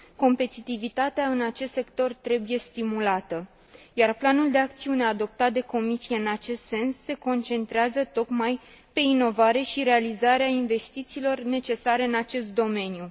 Competitivitatea în acest sector trebuie stimulată, iar planul de acțiune adoptat de Comisie în acest sens se concentrează tocmai pe inovare și realizarea investițiilor necesare în acest domeniu.